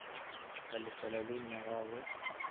ka lefela loan ya gagwe